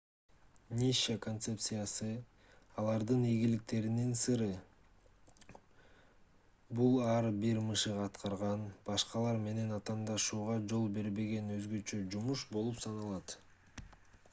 ниша концепциясы алардын ийгиликтеринин сыры бул ар бир мышык аткарган башкалар менен атаандашууга жол бербеген өзгөчө жумуш болуп саналат